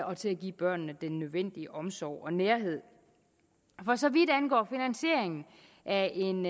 og til at give børnene den nødvendige omsorg og nærhed for så vidt angår finansieringen af en